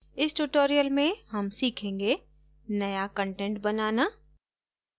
इस tutorial हम सीखेंगे नया कंटेंट बनाना